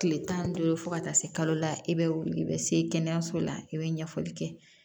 Kile tan ni duuru fo ka taa se kalo la i be wuli i be se kɛnɛyaso la i be ɲɛfɔli kɛ